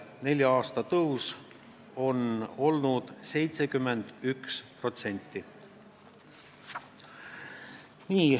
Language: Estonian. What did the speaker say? Nelja aasta tõus on olnud 71%.